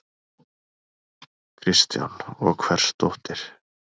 Kristján: Og hvers dóttir?